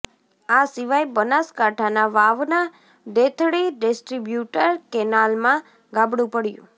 આ સિવાય બનાસકાંઠાના વાવના દેથળી ડિસ્ટ્રીબ્યુટર કેનાલમાં ગાબડું પડ્યું